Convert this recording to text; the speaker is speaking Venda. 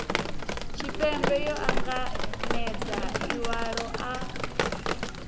tshipembe yo anganedza iwalo a